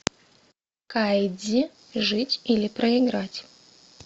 кайдзи жить или проиграть